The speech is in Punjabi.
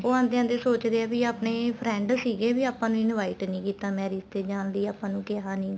ਉਹ ਆਂਦੇ ਆਂਦੇ ਸੋਚਦੇ ਏ ਵੀ ਆਪਣੇ friend ਸੀਗੇ ਵੀ ਆਪਾਂ ਨੂੰ invite ਨਹੀਂ ਕੀਤਾ marriage ਤੇ ਜਾਣ ਲਈ ਆਪਾਂ ਨੂੰ ਕਿਹਾ ਨਹੀਂ ਗਾ